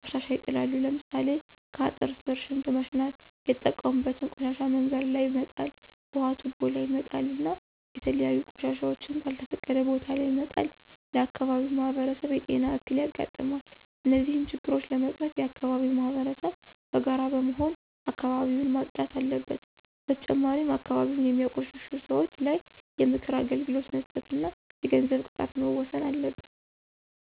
ቆሻሻ ይጥላሉ። ለምሳሌ ከአጥር ስር ሽንት መሽናት የተጠቀሙበትን ቆሻሻ መንገድ ላይ መጣል ውሀ ቱቦ ላይ መጣል እና የተለያዩ ቆሻሻወችን ከልተፈቀደ ቦታ ለይ መጣል ለአካባቢው ማህበረሰብ የጤና እክል ያጋጥማል። እነዚህን ችግሮች ለመቀረፍ የአከባቢው ማህበረሰብ በጋራ በመሆን አካባቢውን ማፅዳት አለበት። በተጨማሪም አካባቢን የሚያቆሽሹ ሰወች ላይ የምክር አገልግሎት መስጠት ወይም የገንዘብ ቅጣት መወሰን አለበት።